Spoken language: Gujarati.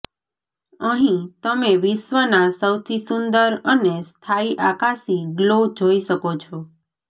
અહીં તમે વિશ્વના સૌથી સુંદર અને સ્થાયી આકાશી ગ્લો જોઈ શકો છો